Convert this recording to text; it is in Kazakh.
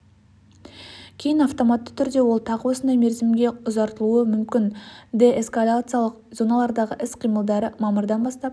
кейін автоматты түрде ол тағы осындай мерзімге ұзартылуы мүмкін деэскалациялық зоналардағы соғыс іс-қимылдары мамырдан бастап